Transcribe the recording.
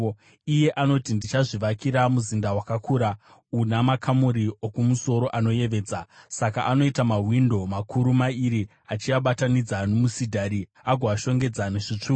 Iye anoti, ‘Ndichazvivakira muzinda wakakura una makamuri okumusoro anoyevedza.’ Saka anoita mawindo makuru mairi, achiabatanidza nomusidhari, agoashongedza nezvitsvuku.